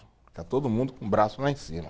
Está todo mundo com o braço lá em cima.